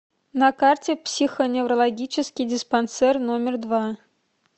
на карте психоневрологический диспансер номер два